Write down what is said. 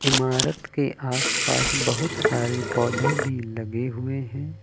इमारत के आस पास बहुत सारे पौधे भी लगे हुए हैं।